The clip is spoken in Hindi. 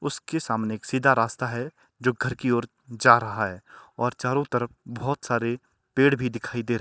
उसके सामने एक सीधा रास्ता है जो घर की ओर जा रहा है और चारों तरफ बहोत सारे पेड़ भी दिखाई दे र--